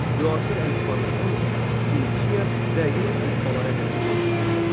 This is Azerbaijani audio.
Müasir əlifbanın hamısı Finiya və Yunan əlifbaları əsasında yaranmışdır.